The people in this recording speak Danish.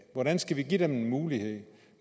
hvordan skal vi give dem en mulighed